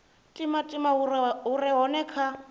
timatima hu re hone kha